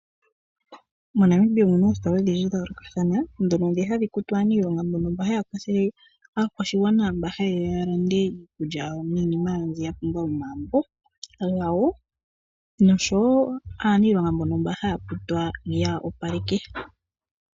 MoNamibia omu na oositola odhindji dha yoolokathana mu na ndhoka hadhi kutu aanilonga mbono haya kwathele aakwashigwana mba ha yeya ya lande iikulya yawo niinima yawo mbi ya pumbwa yomagumbo gawo noshowo aanilonga mba haya kutwa ya opaleke.